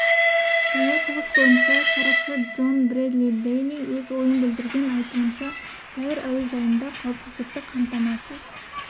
таяу шығыс бойынша сарапшы джон брэдли дэйли өз ойын білдірген айтуынша каир әуежайында қауіпсіздікті қамтамасыз